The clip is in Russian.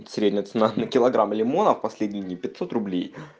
средняя цена на килограмм лимонов последний пятьсот рублей